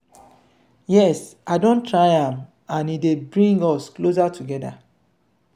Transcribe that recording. yes i don try am and e dey bring us closer together.